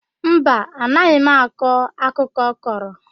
Mba, anụghị m akụkọ ọ kọrọ.